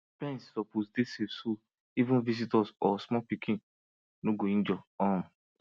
pens suppose dey safe so even visitors or small pikin no go injure um